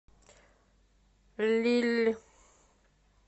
лилль